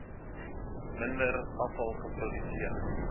minder afval geproduseer